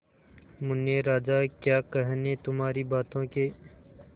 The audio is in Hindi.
मुन्ने राजा क्या कहने तुम्हारी बातों के